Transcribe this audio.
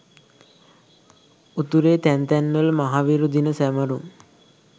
උතුරේ තැන් තැන් වල මහවිරු දින සැමරුම්